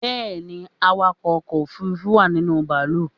Bẹ́ẹ̀ni, awakọ̀ ọkọ̀ òfurufú wà ninú bàálù